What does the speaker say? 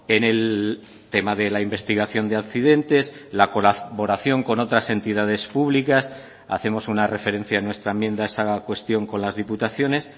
en el tema de la investigación de accidentes la colaboración con otras entidades públicas hacemos una referencia en nuestra enmienda a esa cuestión con las diputaciones